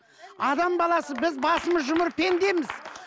адам баласы біз басымыз жұмыр пендеміз